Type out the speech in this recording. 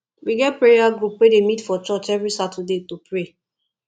we get prayer group wey dey meet for church every saturday to pray